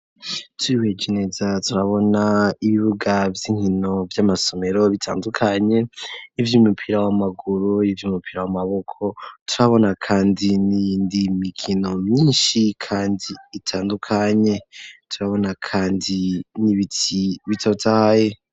Twihweje neza turabona ibibuga vy'inkino vy'amasomero bitandukanye ivy'umupira w'amaguru n'ivy'umupira w'amaboko turabona kandi niyindi mikino myinshi kandi itandukanye turabona kandi nibiti bitotaye.